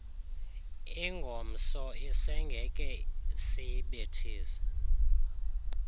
ingomso isengeke siyibethise